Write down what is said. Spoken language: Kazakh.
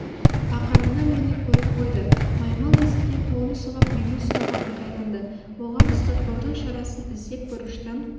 ақырында мені көріп қойды маймыл есіктен қолын сұғып мені ұстауға ыңғайланды оған ұстатпаудың шарасын іздеп бұрыштан